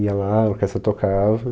Ia lá, a orquestra tocava.